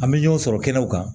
An bɛ ɲɔgɔn sɔrɔ kɛnɛw kan